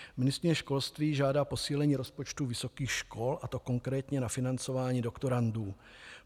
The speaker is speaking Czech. Ministryně školství žádá posílení rozpočtu vysokých škol, a to konkrétně na financování doktorandů.